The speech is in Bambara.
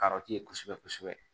kosɛbɛ kosɛbɛ